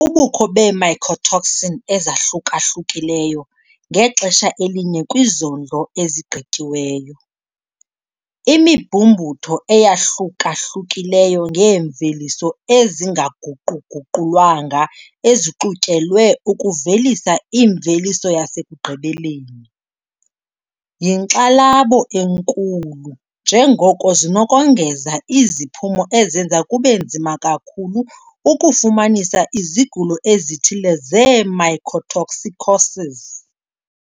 Ubukho bee-mycotoxin ezahluka-hlukileyo ngexesha elinye kwizondlo ezigqityiweyo, imibhumbutho eyahlukahlukileyo yeemveliso ezingaguqu-guqulwanga ezixutyelwe ukuvelisa imveliso yasekugqibeleni, yinkxalabo enkulu njengoko zinokongeza iziphumo ezenza kube nzima kakhulu ukufumanisa izigulo ezithile zee-mycotoxicoses.